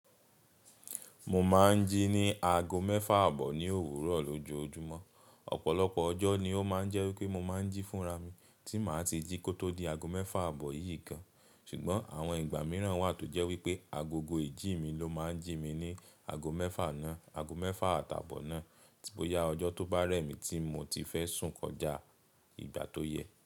Mo máa ń jí ní ago mẹ́fà àbọ̀ ní òwúrọ̀ lójoojúmọ́. Ọ̀pọ̀lọpọ̀ ọjọ́ ni ó máa ń jẹ́ wípé mo máa ń jí fúnra mi tí màá ti jí kó tó di ago mẹ́fà àbọ̀ yìí kan. Ṣùgbọ́n àwọn ìgbà mìíràn wà tó jẹ́ wípé agogo ìjí mi ló máa ń jí mi ní ago mẹ́fà náà, ago mẹ́fà àtàbọ̀ náà. Boya ọjọ to ba rẹ mi ti mo ti fẹ sun kọja igba to yẹ.